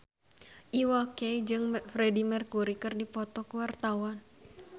Iwa K jeung Freedie Mercury keur dipoto ku wartawan